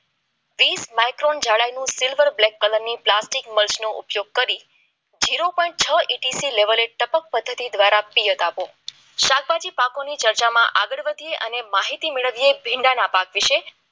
વીસ માઈક્રોન જાડાઈનું silver black colour નું આર્થિક મલ્સ નો ઉપયોગ કરી જેરો પોઈન્ટ છ ઈટીસી લેવલ ટપક પદ્ધતિ દ્વારા પ્રિયત આપો શાકભાજી પાકોની આગળ વધીએ અને માહિતી મેળવીએ ભીંડાના પાક વિશે